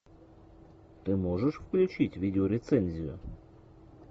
ты можешь включить видеорецензию